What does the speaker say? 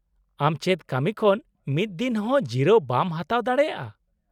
-ᱟᱢ ᱪᱮᱫ ᱠᱟᱹᱢᱤ ᱠᱷᱚᱱ ᱢᱤᱫ ᱫᱤᱱ ᱦᱚᱸ ᱡᱤᱨᱟᱹᱣ ᱵᱟᱢ ᱦᱟᱛᱟᱣ ᱫᱟᱲᱮᱭᱟᱜᱼᱟ ?